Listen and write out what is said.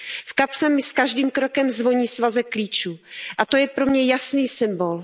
V kapse mi s každým krokem zvoní svazek klíčů a to je pro mě jasný symbol.